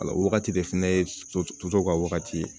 La o wagati de fɛnɛ ye soso ka wagati ye